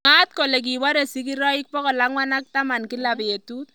Mwaat kole kiporee sigiroik 410 kila petut